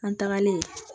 An tagalen